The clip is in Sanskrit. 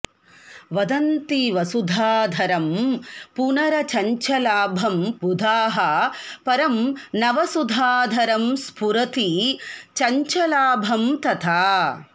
वदन्ति वसुधाधरं पुनरचञ्चलाभं बुधाः परं नवसुधाधरं स्फुरति चञ्चलाभं तथा